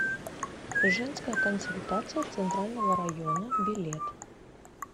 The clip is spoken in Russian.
женская консультация центрального района билет